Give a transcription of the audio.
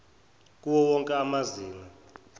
kuwo wonke amazinga